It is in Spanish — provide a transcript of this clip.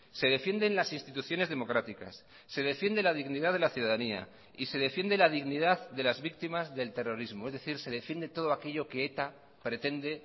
se defienden las instituciones democráticas se defiende la dignidad de la ciudadanía y se defiende la dignidad de las víctimas del terrorismo es decir se defiende todo aquello que eta pretende